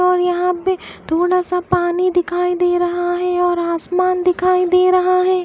और यहां पे थोड़ा सा पानी दिखाई दे रहा है और आसमान दिखाई दे रहा है।